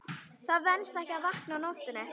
Það venst ekki að vakna á nóttunni.